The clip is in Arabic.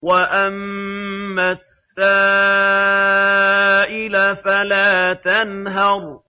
وَأَمَّا السَّائِلَ فَلَا تَنْهَرْ